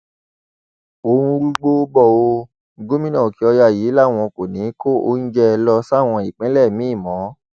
ó ń rúgbó bò ó gómìnà òkèọyà yìí làwọn kò ní í kó oúnjẹ lọ sáwọn ìpínlẹ míín mọ